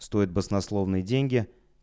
стоит баснословные деньги